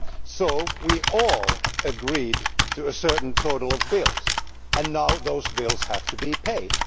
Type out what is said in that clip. So we all agreed to a certain total of bills and now those bills have to be paid.